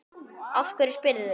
Af hverju spyrðu?